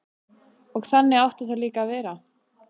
Og þannig átti það líka að vera.